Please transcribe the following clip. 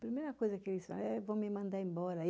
Primeira coisa que eles falavam, é, vão me mandar embora.